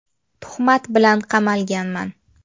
Tuhmat bilan qamalganman.